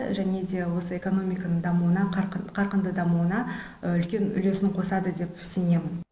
және де осы экономиканың қарқынды дамуына үлкен үлесін қосады деп сенемін